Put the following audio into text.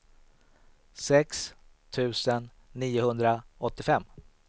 sex tusen niohundraåttiofem